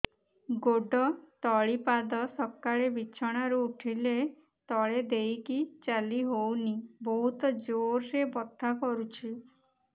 ଗୋଡ ତଳି ପାଦ ସକାଳେ ବିଛଣା ରୁ ଉଠିଲେ ତଳେ ଦେଇକି ଚାଲିହଉନି ବହୁତ ଜୋର ରେ ବଥା କରୁଛି